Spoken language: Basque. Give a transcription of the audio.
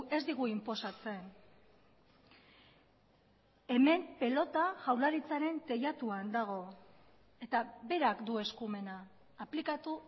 ez digu inposatzen hemen pilota jaurlaritzaren teilatuan dago eta berak du eskumena aplikatu